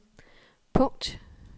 punkt